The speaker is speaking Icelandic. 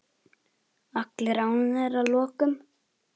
Allir ánægðir að lokum?